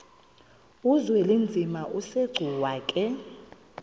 uzwelinzima asegcuwa ke